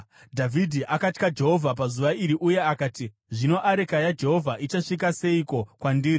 Dhavhidhi akatya Jehovha pazuva iri uye akati, “Zvino areka yaJehovha ichasvika seiko kwandiri?”